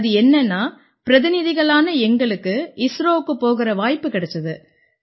அது என்னென்னா பிரதிநிதிகளான எங்களுக்கு இஸ்ரோவுக்குப் போகற வாய்ப்பு கிடைச்சுது